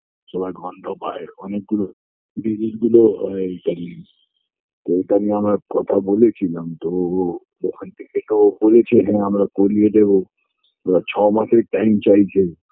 সবাই গন্ধ পায় অনেক গুলো জিনিসগুলো এই তা তবুতো আমি আমার কথা বলেছিলাম তো ওখান থেকে এটাও বলেছে যে হ্যাঁ আমরা করিয়ে দেব ওরা ছমাসের time চাইছে